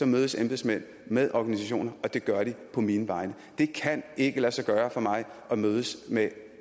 mødes embedsmænd med organisationer og det gør de på mine vegne det kan ikke lade sig gøre for mig at mødes med